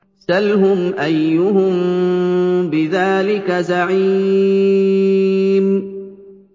سَلْهُمْ أَيُّهُم بِذَٰلِكَ زَعِيمٌ